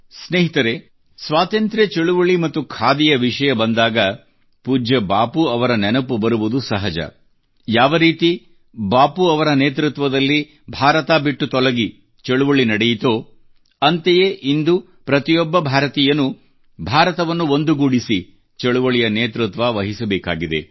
ಸ್ನೇಹಿತರೇ ಸ್ವಾತಂತ್ರ್ಯ ಚಳುವಳಿ ಮತ್ತು ಖಾದಿಯ ವಿಷಯ ಬಂದಾಗ ಪೂಜ್ಯ ಬಾಪೂ ಅವರ ನೆನಪು ಬರುವುದು ಸಹಜ ಯಾವರೀತಿ ಬಾಪೂ ಅವರ ನೇತೃತ್ವದಲ್ಲಿ ಭಾರತ ಬಿಟ್ಟು ತೊಲಗಿ ಚಳುವಳಿ ನಡೆಯಿತೋ ಅಂತೆಯೇ ಇಂದು ಪ್ರತಿಯೊಬ್ಬ ಭಾರತೀಯನೂ ಭಾರತವನ್ನು ಒಂದುಗೂಡಿಸಿ ಚಳುವಳಿಯ ನೇತೃತ್ವ ವಹಿಸಬೇಕಾಗಿದೆ